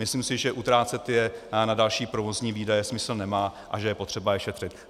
Myslím si, že utrácet je na další provozní výdaje, smysl nemá a že je potřeba je šetřit.